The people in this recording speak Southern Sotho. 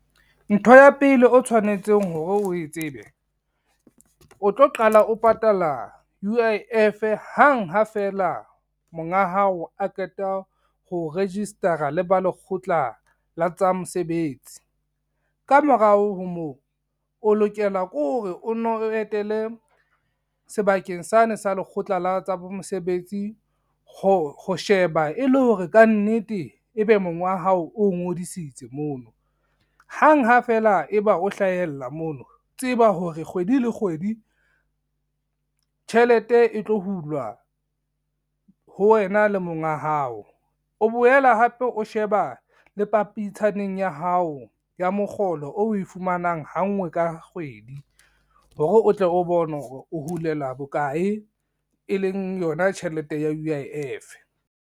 Ntho ya pele o tshwanetseng hore o e tsebe, o tlo qala o patala U_I_F hang ha fela monga hao a qeta ho register-a le ba Lekgotla la tsa Mosebetsi. Ka morao ho moo, o lokela ke hore o no etele sebakeng sane sa Lekgotla la tsa bo Mosebetsi ho sheba e le hore ka nnete ebe monga hao o ngodisitse mono. Hang ha feela e ba o hlahella mono tseba hore kgwedi le kgwedi tjhelete e tlo hulwa ho wena le monga hao, o boela hape o sheba ba le pampitshaneng ya hao ya mokgolo o we fumanang ha ngwe ka kgwedi hore o tle o bone hore o hulelwa bokae e leng yona tjhelete ya U_I_F.